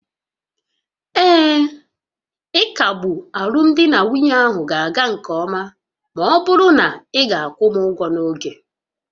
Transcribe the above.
Ee, ịkagbu alụmdi na nwunye ahụ ga-aga nke ọma ma ọ bụrụ na ị ga-akwụ m ụgwọ n'oge